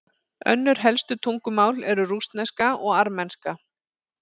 Önnur helstu tungumál eru rússneska og armenska.